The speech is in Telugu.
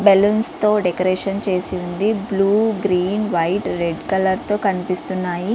బల్లూన్స్ తో డెకరేషన్ చేసివుంది blue green white red colour తో కనిపిస్తున్నాయి.